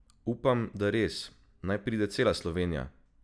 Upam, da res, naj pride cela Slovenija!